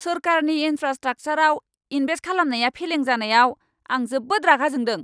सोरखारनि इनफ्रास्ट्राकसारआव इनभेस्ट खालामनाया फेलें जानायाव, आं जोबोद रागा जोंदों!